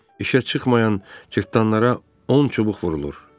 İşə çıxmayan cırtdanlara on çubuq vurulur.